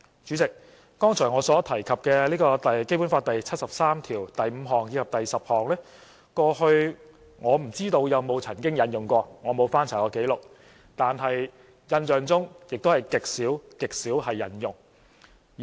主席，剛才我所提及的《基本法》第七十三條第五項及第十項，我不知道過去曾否引用過，我沒翻查過紀錄，但印象中是極少極少引用。